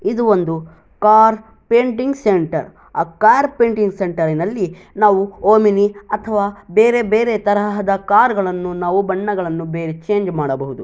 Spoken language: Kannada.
ಇದು ಒಂದು ಕಾರ್ ಪೇಂಟಿಂಗ್ ಸೆಂಟರ್. ಆ ಕಾರ್ ಪೇಟಿಂಗ್ ಸೆಂಟರ್ ನಲ್ಲಿ ನಾವು ಓಮಿನಿ ಅಥವಾ ಬೇರೆ ಬೇರೆ ತರಹದ ಕಾರ್ ಗಳನ್ನು ನಾವು ಬಣ್ಣಗಳನ್ನು ಬೇರೆ ಚೇಂಜ್ ಮಾಡಬಹುದು.